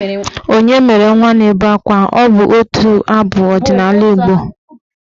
"Onye mere nwa na-ebe akwa" bụ otu abụ ọdịnaala Igbo.